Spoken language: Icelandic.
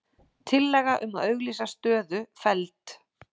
Tillaga um að auglýsa stöðu felld